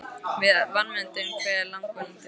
Við vanmetum hve langvarandi þessi áhrif eru.